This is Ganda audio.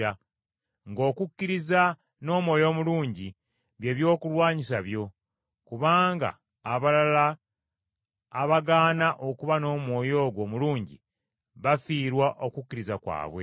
ng’okukkiriza, n’omwoyo omulungi, bye byokulwanyisa byo. Kubanga abalala abagaana okuba n’omwoyo ogwo omulungi bafiirwa okukkiriza kwabwe.